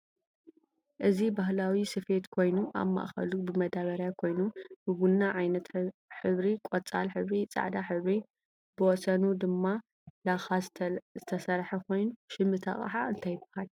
እዚ ባህላዊ ሰፊየት ኮይኑ አብ ማእከሉ ብመዳበርያ ኮይኑ ብቡና ዓይነት ሕብሪ፣ ቆፃል ሕብሪ፣ ፃዕዳ ሕብሪ ብወሰኑ ድማ ለኻ ዝተሰርሐ ኮይኑ ሸም እቲ አቅሓ እንታይ ይባሃል?